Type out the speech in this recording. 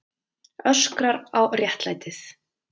Öskrar á réttlætið.